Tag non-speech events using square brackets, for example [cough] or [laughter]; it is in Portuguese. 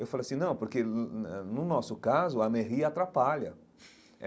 Eu falei assim, não, porque [unintelligible] no nosso caso a Merri atrapalha.